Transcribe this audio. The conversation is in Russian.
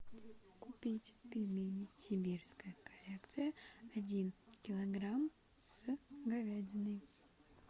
купить пельмени сибирская коллекция один килограмм с говядиной